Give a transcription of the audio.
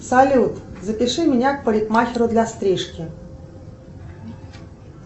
салют запиши меня к парикмахеру для стрижки